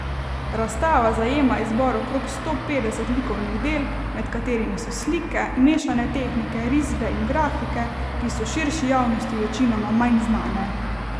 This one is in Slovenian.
Razstava zajema izbor okrog sto petdeset likovnih del, med katerimi so slike, mešane tehnike, risbe in grafike, ki so širši javnosti večinoma manj znane.